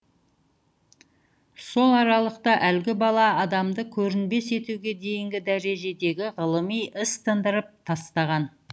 сол аралықта әлгі бала адамды көрінбес етуге дейінгі дәрежедегі ғылыми іс тындырып тастаған